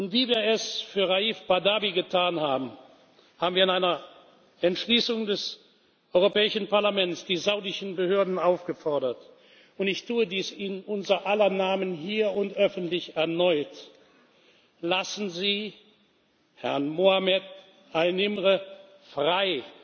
Wie wir es für Raif Badawi getan haben, haben wir in einer Entschließung des Europäischen Parlaments die saudischen Behörden aufgefordert, und ich tue dies in unser aller Namen hier und öffentlich erneut Lassen Sie Herrn Ali Mohammed An Nimr frei!